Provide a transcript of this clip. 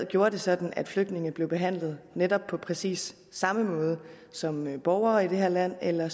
gjorde det sådan at flygtninge blev behandlet netop på præcis samme måde som borgere i det her land eller